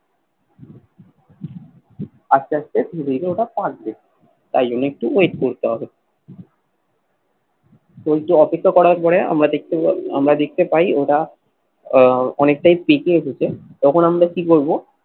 আস্তে আস্তে ধীরে ধীরে ওটা পাকবে তাই জন্য একটু wait করতে হবে তো এট্টু অপেক্ষা করার পরে আমরা দেখতে আমরা দেখতে পাই ওরা আহ অনেকটাই পেকে এসেছে তখন আমরা কি করবো